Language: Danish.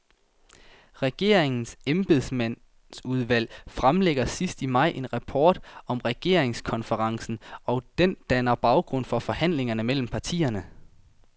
Regeringens embedsmandsudvalg fremlægger sidst i maj en rapport om regeringskonferencen, og den danner baggrund for forhandlingerne mellem partierne.